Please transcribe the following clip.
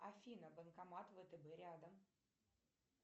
афина банкомат втб рядом